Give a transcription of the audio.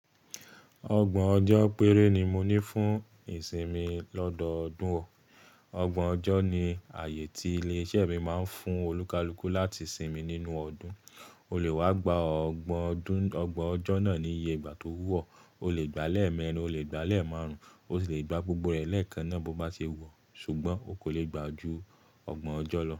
Ọgbọ̀n ọjọ́ péré ni mo ní fún ìsinmi lọ́dọọdún ọ. Ọgbọ̀n ọjọ́ ni ààyè tí ilé-iṣẹ́ mi máa ń fún olùkalùkù láti sinmi nínú ọdún. O lè wá gba ọgbọ̀n ọjọ́ náà ní iye ìgbà tó wù ọ. O lè gbàá l'emeẹrin, o lè gbàá l'emáarùn-ún, o sì lè gbá gbogbo ẹ lẹ́ẹ̀kànná bó bá se wù ọ. Ṣùgbọ́n o kò lè gbá ju ọgbọ̀n ọjọ́ lọ.